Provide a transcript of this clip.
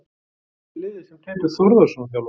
Hvað heitir liðið sem Teitur Þórðarson þjálfar?